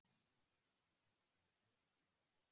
Hvað myndi ég gera á daginn?